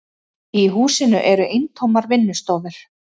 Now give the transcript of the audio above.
Í húsinu eru eintómar vinnustofur.